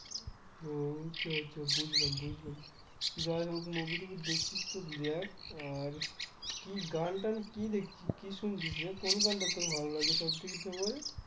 ও আচ্ছা আচ্ছা বুঝলাম বুঝলাম যাইহোক movie টুভি দেখছিস তো দেখ আর কি গান টান কি দেখছিস কি শুনছিস রে কোন গানটা তোর ভালো লাগে সবথেকে favourite